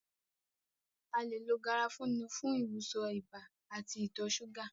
A le lo garafuni fún ìwòsàn ibà àti ìtọ súgà